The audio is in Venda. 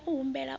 i ya u humbela u